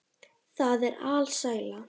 Það er alsæla.